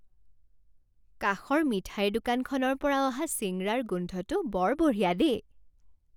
কাষৰ মিঠাইৰ দোকানখনৰ পৰা অহা চিঙৰাৰ গোন্ধটো বৰ বঢ়িয়া দেই।